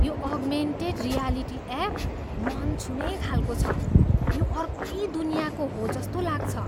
यो augmented reality app मन छुने खालको छ। यो अर्कै दुनियाँको हो जस्तो लाग्छ।